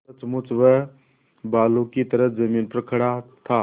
सचमुच वह बालू की ही जमीन पर खड़ा था